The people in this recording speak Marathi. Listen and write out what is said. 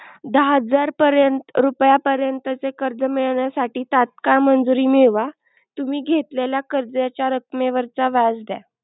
दहा हजार पर्यंत रुपया पर्यंत चे कर्ज मिळण्यासाठी तात्काल मंजुरी मिळवा तुम्ही घेतल्याला कर्जाच्या रकमेवरचा व्याज द्या.